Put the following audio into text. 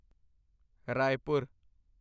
Raipur